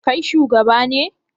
Kai shugaba ne?